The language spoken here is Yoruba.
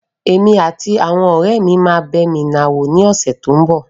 Èmi àti àwọn ọ̀rẹ́ mi máa bẹ miná wò ní ọ̀sẹ́ tí ń bọ̀.